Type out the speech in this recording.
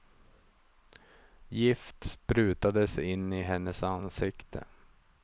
Gift sprutades in i hennes ansikte.